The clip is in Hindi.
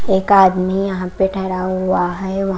एक आदमी यहां पे ठहरा हुआ है ।